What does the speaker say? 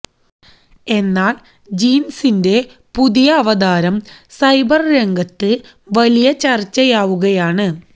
എന്നാല് ജീന്സിന്റെ പുതിയ അവതാരം സൈബര് രംഗത്ത് വലിയ ചര്ച്ചയാവുകയാണ്